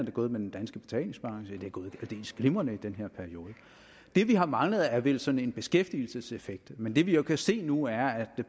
er gået med den danske betalingsbalance det er gået aldeles glimrende i den her periode det vi har manglet er vel sådan en beskæftigelseseffekt men det vi jo kan se nu er at